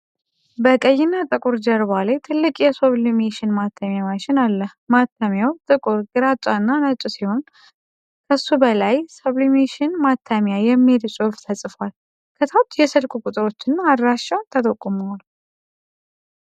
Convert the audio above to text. በቀይ እና ጥቁር ጀርባ ላይ ትልቅ የሱብሊሜሽን ማተሚያ ማሽን አለ። ማተሚያው ጥቁር፣ ግራጫ እና ነጭ ሲሆን፣ ከሱ በላይ 'ሰብሊሜሽን ማተሚያ' የሚል ጽሑፍ ተጽፏል። ከታች የስልክ ቁጥሮች እና አድራሻ ተጠቁመዋል።